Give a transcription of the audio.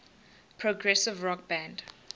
progressive rock band